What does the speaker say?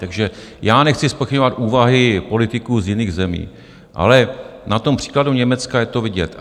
Takže já nechci zpochybňovat úvahy politiků z jiných zemí, ale na tom příkladu Německa je to vidět.